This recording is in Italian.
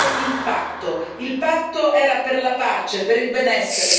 Il patto era per la pace, per il benessere, per la solidarietà.